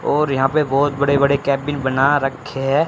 और यहां पे बहुत बड़े बड़े केबिन बना रखे हैं।